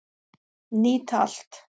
Nýta allt